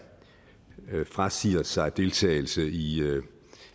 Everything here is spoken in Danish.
frasiger sig deltagelse i